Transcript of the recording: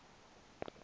kombla wama ku